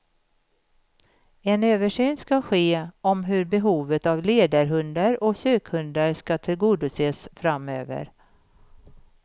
En översyn ska ske om hur behovet av ledarhundar och sökhundar ska tillgodoses framöver.